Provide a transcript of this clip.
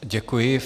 Děkuji.